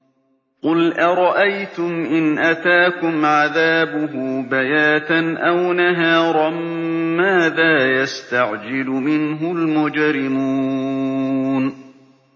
قُلْ أَرَأَيْتُمْ إِنْ أَتَاكُمْ عَذَابُهُ بَيَاتًا أَوْ نَهَارًا مَّاذَا يَسْتَعْجِلُ مِنْهُ الْمُجْرِمُونَ